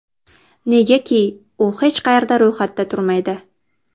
Negaki, u hech qayerda ro‘yxatda turmaydi.